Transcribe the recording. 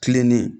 Kilennen